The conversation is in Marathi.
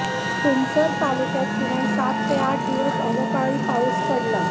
तुमसर तालुक्यात किमान सात ते आठ दिवस अवकाळी पाऊस पडला